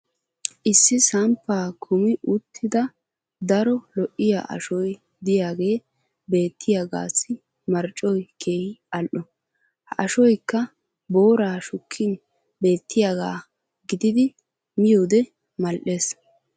issi samppaa kummi uttida daro lo'iya ashoy diyaagee beettiyaagassi marccoy keehi al'o. ha ashoykka booraa shukkin beettiyaagaa giddidi miyoode mal'ees.